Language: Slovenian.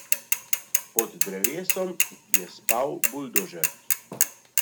Pod drevesom je spal buldožer.